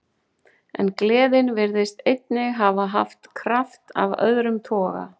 En gleðin virtist einnig hafa haft kraft af öðrum toga.